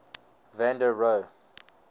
van der rohe